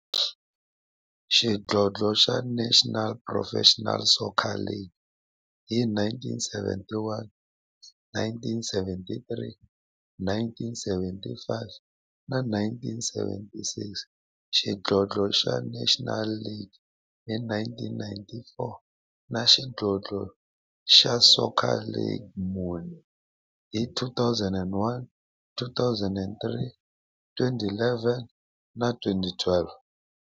Xidlodlo xa National Professional Soccer League hi 1971, 1973, 1975 na 1976, xidlodlo xa National Soccer League hi 1994, na Premier Xidlodlo xa Soccer League ka mune, hi 2001, 2003, 2011 na 2012.